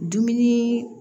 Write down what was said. Dumuni